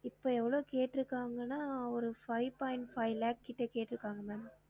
இப்ப எவ்ளோ கேட்டுருக்காங்கானா ஒரு five point five lakhs கிட்ட கேட்றுக்காங்க ma'am